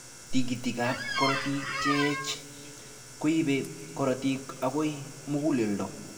Tikitik ab karotik cheech koibe karotik akoi mukuleldo.